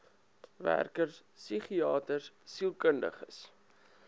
werkers psigiaters sielkundiges